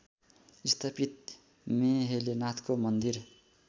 स्थापित मेहेलेनाथको मन्दिर